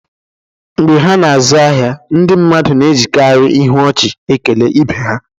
Mgbe ha na-azụ ahịa, ndị mmadụ na-ejikarị ihu ọchị na-ekele ibe ha